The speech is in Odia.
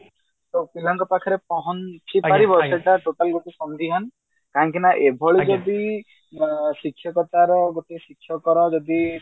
ପିଲାଙ୍କ ପାଖରେ ପହଞ୍ଚି କାହିଁକି ନା ଏଭଳି ଯଦି ଅ ଶିକ୍ଷକତାର ଗୋଟେ ଶିକ୍ଷକର ଯଦି